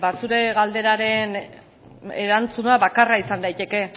zure galderaren erantzuna bakarra izan daiteke